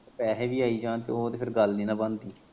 ਪੈਹੇ ਵੀ ਆਈ ਜਾਣ ਤੇ ਫੇਰ ਉਹ ਤੇ ਗੱਲ ਨਈ ਨੀ ਬਣਦੀ।